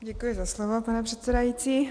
Děkuji za slovo, pane předsedající.